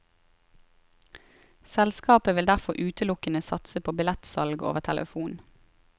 Selskapet vil derfor utelukkende satse på billettsalg over telefon.